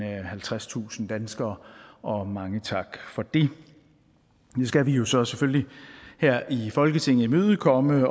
halvtredstusind danskere og mange tak for det nu skal vi jo så selvfølgelig her i folketinget imødekomme